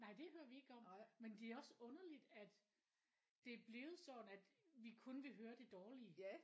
Nej det hører vi ikke om men det er også underligt at det er blevet sådan at vi kun vil høre det dårlige